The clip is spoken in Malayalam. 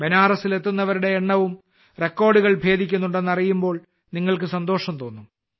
ബനാറസിൽ എത്തുന്നവരുടെ എണ്ണവും റെക്കോർഡുകൾ ഭേദിക്കുന്നുണ്ടെന്ന് അറിയുമ്പോൾ നിങ്ങൾക്ക് സന്തോഷം തോന്നും